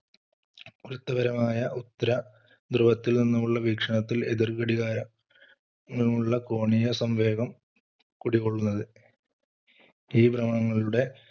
പരമായ ഉത്തര ധ്രുവത്തിൽ നിന്നുമുള്ള വീക്ഷണത്തിൽ എതിർ ഘടികാര നിന്നുള്ള കോണിയസംവേഗം കുടികൊള്ളുന്നത് ഈ ഭ്രമണങ്ങളുടെ